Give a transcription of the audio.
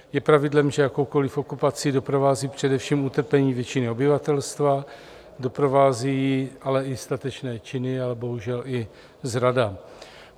Je pravidlem, že jakoukoliv okupaci doprovází především utrpení většiny obyvatelstva, doprovází ji ale i statečné činy, ale bohužel i zrada.